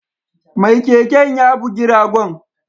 Mai keken ya bugi ragon